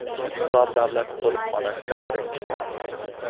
Hisor davlat qo‘riqxonasida birinchi qor.